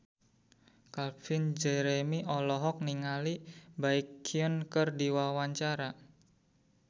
Calvin Jeremy olohok ningali Baekhyun keur diwawancara